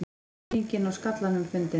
Skýringin á skallanum fundin